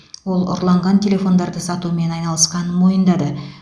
ол ұрланған телефондарды сатумен айналысқанын мойындады